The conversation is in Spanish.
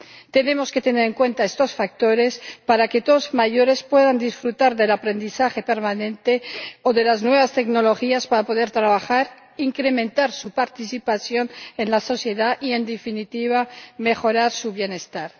Tenemos que tener en cuenta estos factores para que todos los mayores puedan disfrutar del aprendizaje permanente o de las nuevas tecnologías para poder trabajar, incrementar su participación en la sociedad y, en definitiva, mejorar su bienestar.